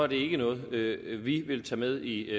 det er noget vi vil tage med i